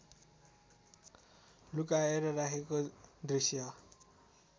लुकाएर राखेको दृष्य